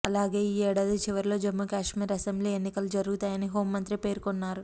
అలాగే ఈ ఏడాది చివరలో జమ్మూశ్మీర్ అసెంబ్లీ ఎన్నికలు జరుగుతాయని హోంమంత్రి పేర్కొన్నారు